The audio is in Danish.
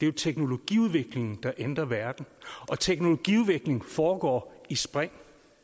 jo teknologiudviklingen der ændrer verden og teknologiudvikling foregår i spring